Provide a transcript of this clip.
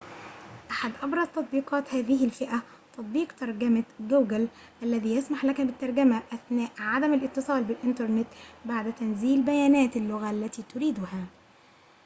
أحد أبرز تطبيقات هذه الفئة تطبيق ترجمة google الذي يسمح لك بالترجمة أثناء عدم الاتصال بالإنترنت بعد تنزيل بيانات اللغة التي تريدها